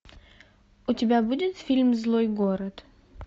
у тебя будет фильм злой город